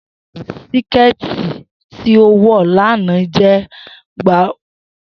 Siketi ti o wọ lana jẹ gbowolori pupọ